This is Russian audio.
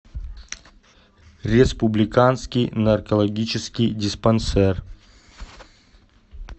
республиканский наркологический диспансер